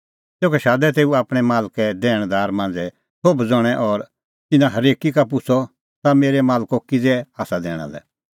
तेखअ शादै तेऊ आपणैं मालके दैणदार मांझ़ै सोभ ज़ण्हैं और तिन्नां हरेकी का पुछ़अ ताह मेरै मालको किज़ै आसा दैणा लै